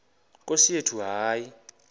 nkosi yethu hayi